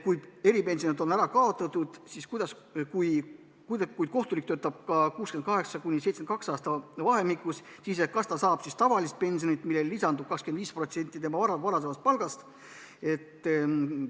Kui eripensionid on ära kaotatud ja kohtunik töötab vahemikus 68–72 eluaastat, siis kas ta saab tavalist pensionit, millele lisandub 25% tema varasemast palgast?